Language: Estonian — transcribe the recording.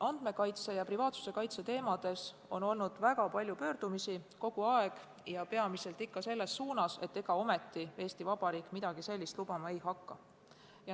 Andmete ja privaatsuse kaitse teemadel on kogu aeg olnud väga palju pöördumisi ja peamiselt ikka selles suunas, et ega ometi Eesti Vabariik midagi sellist lubama hakka.